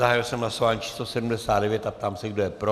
Zahájil jsem hlasování číslo 79 a ptám se, kdo je pro.